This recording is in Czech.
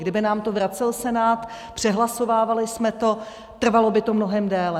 Kdyby nám to vracel Senát, přehlasovávali jsme to, trvalo by to mnohem déle.